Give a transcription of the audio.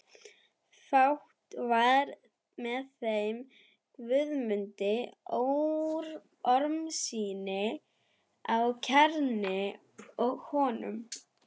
Fátt var með þeim Guðmundi Ormssyni á Knerri og honum.